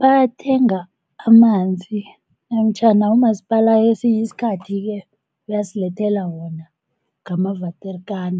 Bathenga amanzi namtjhana umasipala kesinye isikhathi-ke uyasilethela wona ngama-waterkan